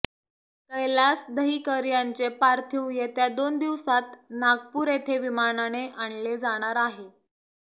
कैलास दहिकर यांचे पार्थिव येत्या दोन दिवसांत नागपूर येथे विमानाने आणले जाणार आहे